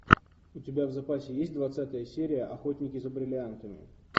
у тебя в запасе есть двадцатая серия охотники за бриллиантами